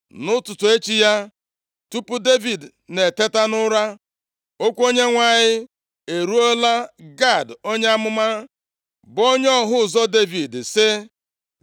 Nʼụtụtụ echi ya, tupu Devid na-eteta nʼụra, okwu Onyenwe anyị eruola Gad onye amụma, bụ onye ọhụ ụzọ Devid, sị,